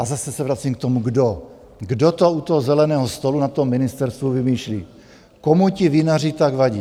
A zase se vracím k tomu, kdo - kdo to u toho zeleného stolu na tom ministerstvu vymýšlí, komu ti vinaři tak vadí!